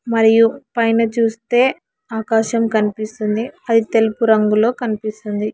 మరియు పైన చూస్తే ఆకాశం కనిపిస్తుంది అది తెలుపు రంగులో కనిపిస్తుంది.